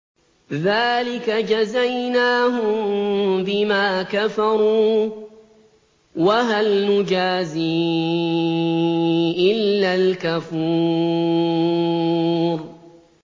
ذَٰلِكَ جَزَيْنَاهُم بِمَا كَفَرُوا ۖ وَهَلْ نُجَازِي إِلَّا الْكَفُورَ